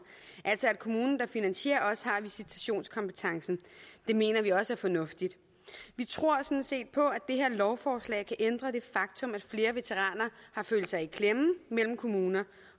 så kommunen der finansierer altså også har visitationskompetencen det mener vi også er fornuftigt vi tror sådan set på at det her lovforslag kan ændre det faktum at flere veteraner har følt sig i klemme mellem kommuner